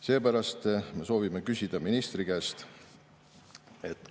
Seepärast me soovime küsida ministri käest.